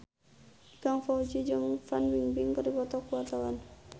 Ikang Fawzi jeung Fan Bingbing keur dipoto ku wartawan